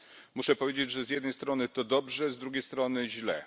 Muszę powiedzieć, że z jednej strony to dobrze, z drugiej strony źle.